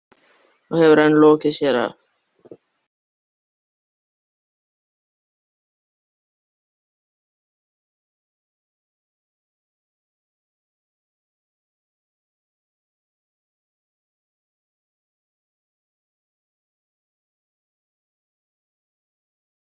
Þá væri gaman að bregða sér aftur í heimsókn.